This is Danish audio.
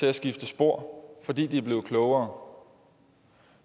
at skifte spor fordi de er blevet klogere